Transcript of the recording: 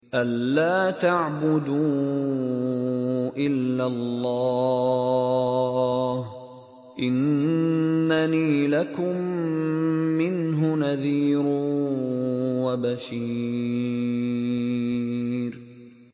أَلَّا تَعْبُدُوا إِلَّا اللَّهَ ۚ إِنَّنِي لَكُم مِّنْهُ نَذِيرٌ وَبَشِيرٌ